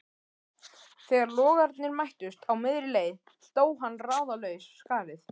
Þegar logarnir mættust á miðri leið dó hann ráðalaus skarið